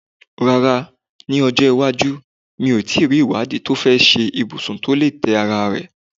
Rárá, ní ọjọ́ iwájú, mi ò tí ì rí ìwádìí tó fẹ́ ṣe ibùsùn tó lè tẹ́ ara rẹ̀.